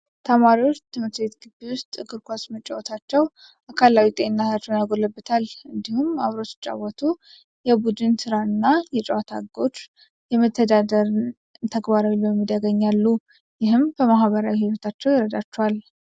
ተማሪዎች ትምህርት ቤት ግቢ ውስጥ እግር ኳስ መጫወታቸው አካላዊ ጤንነታቸውን ያጎለብታል። እንዲሁም፣ አብረው ሲጫወቱ የቡድን ስራን እና በጨዋታ ህጎች የመተዳደርን ተግባራዊ ልምምድ ያገኛሉ፣ ይህም በማህበራዊ ህይወታቸው ይረዳቸዋል።